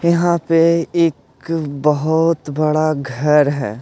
यहाँ पे एक बहुत बड़ा घर है।